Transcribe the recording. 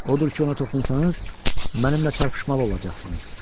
Odur ki, ona toxunsanız, mənimlə çarpışmalı olacaqsınız.